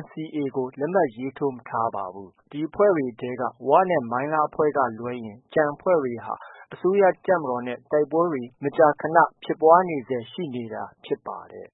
NCA ကို လက်မှတ်မရေးထိုးသေးပါဘူး။ ဒီအဖွဲ့တွေထဲက ဝနဲ့ မိုင်းလားအဖွဲ့က လွဲရင် ကျန်အဖွဲ့တွေဟာ အစိုးရတပ်မတော်နဲ့ တိုက်ပွဲတွေ မကြာခနဖြစ်ပွားနေဆဲရှိတာဖြစ်ပါတယ်